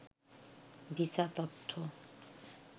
visa তথ্য